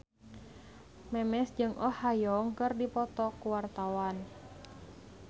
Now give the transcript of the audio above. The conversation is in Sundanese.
Memes jeung Oh Ha Young keur dipoto ku wartawan